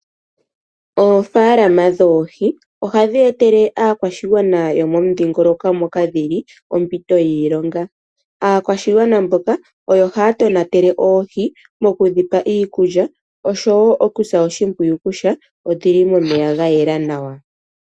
Oofaalama dhoohi oha dhi etele aakwashigwana yo momudhingoloko moka dhi li ompito yiilonga, aakwashigwana mboka oyo haya tonatele oohi moku dhipa iikulya oshowoo okusa oshimpwiyu kutya odhi li momeya gayela nawa.